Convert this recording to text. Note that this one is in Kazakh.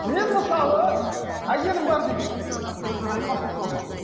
мен мысалы әйелім бар дейік мына қызға қараймын ғашық болып қалдым